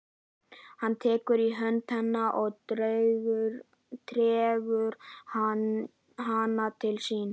Hann tekur í hönd hennar og dregur hana til sín.